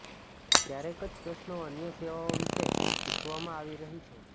ક્યારેક જ પ્રશ્નો અન્ય સેવાઓ વિશે પૂછવામાં આવી રહી છે